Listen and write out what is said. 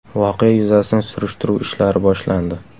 Voqea yuzasidan surishtiruv ishlari boshlandi.